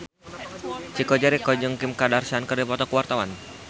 Chico Jericho jeung Kim Kardashian keur dipoto ku wartawan